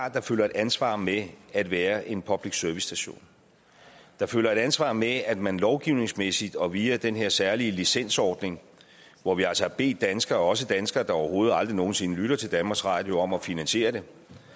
at der følger et ansvar med at være en public service station der følger et ansvar med at man lovgivningsmæssigt og via den her særlige licensordning hvor vi altså har bedt danskere også danskere der overhovedet aldrig nogen sinde lytter til danmarks radio om at finansiere det